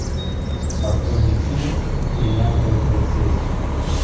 открой мне фильм бриллиантовый полицейский